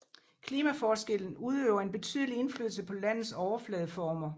Klimaforskellen udøver en betydelig indflydelse på landets overfladeformer